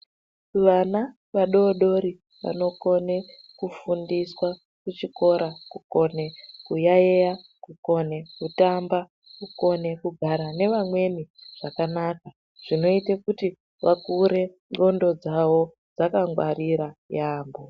Vana vadodori vanokone kufundiswa kuchikora kukone kuyaiya, kukone kutamba, kukone kugara nevamweni zvakanaka. Zvinoite kuti vakure ndxondo dzavo dzakangwarira yaambo.